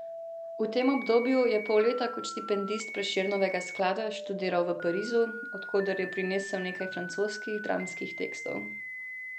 V tem obdobju je pol leta kot štipendist Prešernovega sklada študiral v Parizu, od koder je prinesel nekaj francoskih dramskih tekstov.